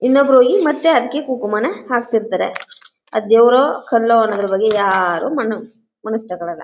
ಇನ್ನೊಬ್ಬರು ಈ ಮತ್ತೆ ಹರಕೆ ಕುಂಕುಮ ನ ಹಾಕ್ತಿರ್ತಾರೆ ಅದು ದೇವರೋ ಕಲ್ಲೋ ಅನ್ನೋದರ ಬಗ್ಗೆ ಯಾರೂ ಮನು ಮನಸಿಗೆ ತಗೋಳಲ್ಲ.